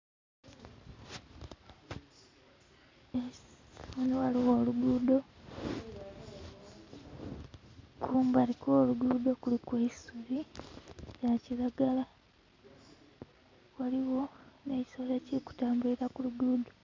Ghano ghaligho olugudho, kumbali kw'olugudho kuliku eisubi lya kiragala ghaligho ne kisolo ekili ku tambulira ku lugudho.